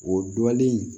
O dɔlen